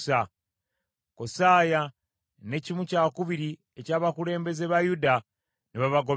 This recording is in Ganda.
Kosaaya ne kimu kyakubiri eky’abakulembeze ba Yuda ne babagoberera,